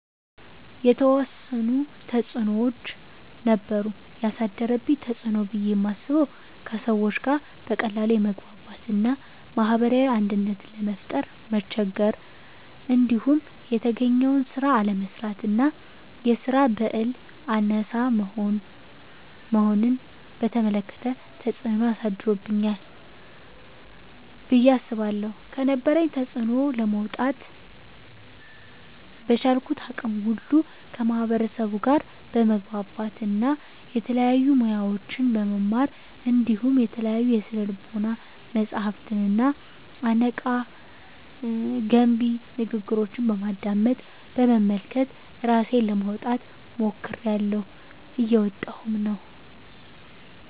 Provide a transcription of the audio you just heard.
የተዎሰኑ ተፅኖዎች ነበሩ። የአሳደረብኝ ተፅኖ ብየ ማስበው:- ከሰዎች ጋር በቀላሉ የመግባባት እና ማህበራዊ አንድነትን ለመፍጠር መቸገር። እንዲሁም የተገኘውን ስራ አለመስራት እና የስራ በህል አናሳ መሆንን በተመለከተ ተፅኖ አሳድሮብኛል ብየ አስባለሁ። ከነበረብኝ ተፅኖ ለመውጣ:- በቻልኩት አቅም ሁሉ ከማህበርሰቡ ጋር በመግባባት እና የተለያዩ ሙያዎችን በመማር እንዲሁም የተለያዩ የስነ ልቦና መፀሀፍትንና አነቃ፣ ገንቢ ንግግሮችን በማድመጥ፣ በመመልከት እራሴን ለማውጣት ሞክሬላሁ። እየወጣሁም ነው።